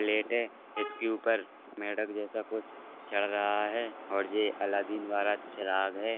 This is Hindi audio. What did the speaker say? प्लेट है इसके ऊपर मेढ़क जैसा कुछ चढ़ रहा है और ये अलादीन वाला चिराग है |